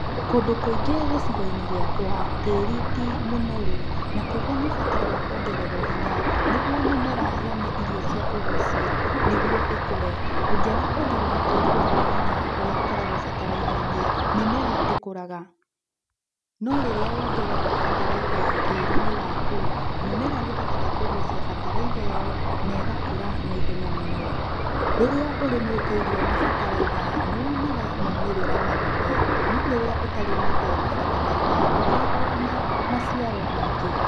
Kũndũ kũingĩ gĩcigo-inĩ gĩakwa tĩri ti mũnoru. Na koguo nĩ ũbataraga kuongererwo hinya nĩguo mĩmera yone irio cia kũgucia niguo ĩkũre, ũngĩaga kuongerera tĩri waku hinya ũrĩa ũkoragwo bataraitha-inĩ mĩmera ndĩkũraga. No rĩrĩa wongerera bataraitha tĩri-inĩ waku mũmera nĩ ũhũtoga kũgucia bataraitha ĩyo nega kũra na ihenya mũno. Rĩrĩa ũrĩmĩte irio na bataraitha nĩ wonaga maumĩrĩra manene no rĩrĩa ũtarĩmĩte na bataraitha ndũkoragwo na maciaro maingĩ.